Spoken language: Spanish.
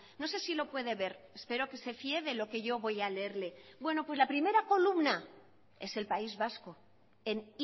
no sé si lo puede ver espero que se fíe de lo que yo voy a leerle bueno pues la primera columna es el país vasco en